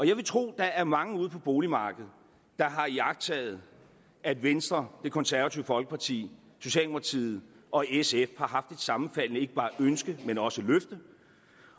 jeg vil tro at der er mange ude på boligmarkedet der har iagttaget at venstre det konservative folkeparti socialdemokratiet og sf har haft et sammenfaldende ikke bare ønske men også løfte